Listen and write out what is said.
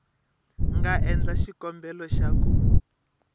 nga endla xikombelo xa ku